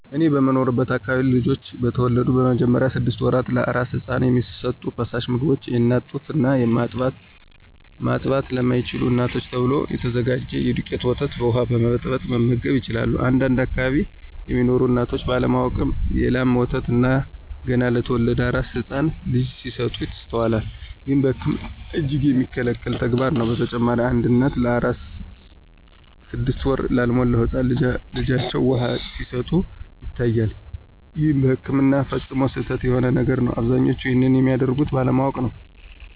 እኔ በምኖርበት አከባቢ ልጆች በተወለዱ በመጀመሪያዎቹ ስድሰት ወራት ለአራስ ህፃን የሚሰጡ ፈሳሽ ምግቦች የአናት ጡት እና ማጥባት ለማይችሉ እናቶች ተብሎ ከተዘጋጀ የዱቄት ወተት በውሃ በመበጥበጥ መመገብ ይችላሉ። አንዳንድ አከባቢ ሚኖሩ እናቶች ባለ ማወቅ የ ላም ወተት ገና ለተወለደ አራስ ህፃን ልጅ ሲሰጡ ይስተዋላል። ይህም በህክምና እጅግ የሚከለከል ተግባርም ነው። በተጨማሪም አንዳንድ እናቶች ለአራስ ስድስት ወር ላልሞላው ህፃን ልጃቸው ውሃ ሲሰጡ ይታያል ይህም በህክምና ፈፅሞ ስህተት የሆነ ነገር ነው። አብዛኞቹም ይንንም የሚያደርጉት ባለማወቅ ነው።